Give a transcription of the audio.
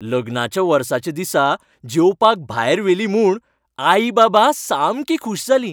लग्नाच्या वर्साच्या दिसा जेवपाक भायर व्हेलीं म्हूण आई बाबा सामकीं खूश जालीं.